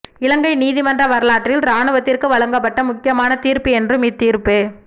இலங்கை நீதிமன்ற வரலாற்றில் இராணுவத்திற்கு வழங்கப்பட்ட முக்கியமான தீர்ப்பு என்றும் இத் தீர்ப்பு